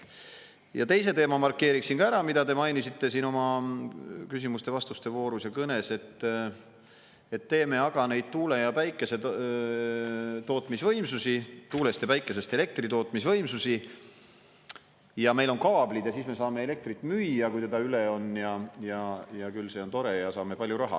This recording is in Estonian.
Markeerin ära ka teise teema, mida te mainisite siin küsimuste-vastuste voorus ja kõnes: et teeme aga neid tuulest ja päikesest elektri tootmise võimsusi ja meil on kaablid ja siis me saame elektrit müüa, kui seda üle on, küll see on tore ja saame palju raha.